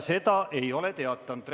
Seda te ei ole teatanud.